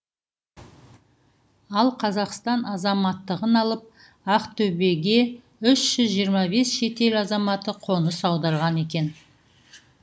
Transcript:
ал қазақстан азаматтығын алып ақтөбеге үш жүз жиырма бес шетел азаматы қоныс аударған екен